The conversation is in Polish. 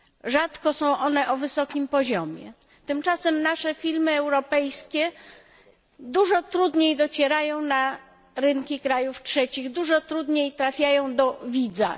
Rzadko są one na wysokim poziomie, tymczasem nasze filmy europejskie dużo trudniej docierają na rynki krajów trzecich, dużo trudniej trafiają do widza.